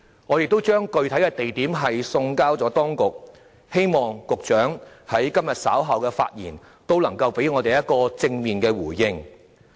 我們已把具體地點的建議送交當局，希望局長在今天稍後發言時也能給我們一個正面回應。